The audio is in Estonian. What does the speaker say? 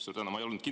Suur tänu!